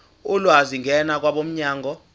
ulwazi ngena kwabomnyango